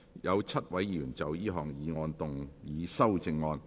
有7位議員要就這項議案動議修正案。